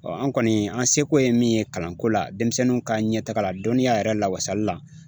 an kɔni, an se ko ye min ye kalanko la denmisɛnninw ka ɲɛtaga la dɔnniya yɛrɛ lawasali la